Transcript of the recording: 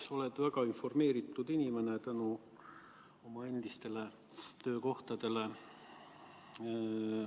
Sa oled väga informeeritud inimene tänu oma endistele töökohtadele.